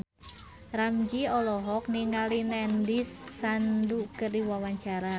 Ramzy olohok ningali Nandish Sandhu keur diwawancara